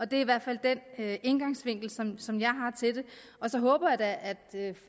det er i hvert fald den indgangsvinkel som som jeg har til det så håber jeg da